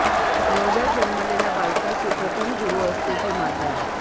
नवजात जन्मलेल्या बालकाची प्रथम गुरू असते ती माता